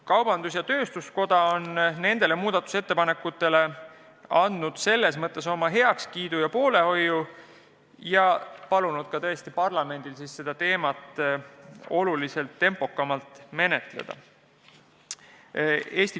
Kaubandus- ja tööstuskoda on need muudatusettepanekud heaks kiitnud ning palunud parlamendil seda teemat ka oluliselt tempokamalt menetleda.